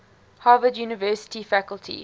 harvard university faculty